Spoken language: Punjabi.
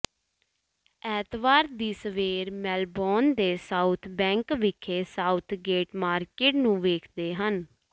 ਐਤਵਾਰ ਦੀ ਸਵੇਰ ਮੇਲਬੋਰਨ ਦੇ ਸਾਊਥ ਬੈਂਕ ਵਿਖੇ ਸਾਊਥਗੇਟ ਮਾਰਕੀਟ ਨੂੰ ਵੇਖਦੇ ਹਨ